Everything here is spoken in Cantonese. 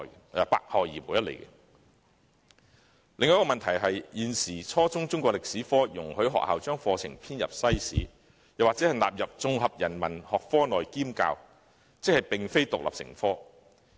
另一個問題是，現時政府容許學校把初中中國歷史科課程編入西史，或納入綜合人民學科內兼教，即並非獨立成科。